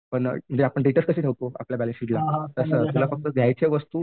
पण आपण डेटर्स कसे ठेवतो आपल्या बॅलन्सशीटची तसं याला फक्त द्यायच्या वस्तू